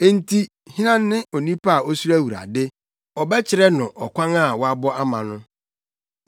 Enti hena ne onipa a osuro Awurade? Ɔbɛkyerɛ no ɔkwan a wabɔ ama no.